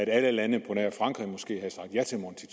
alle lande på nær frankrig måske havde sagt ja til monti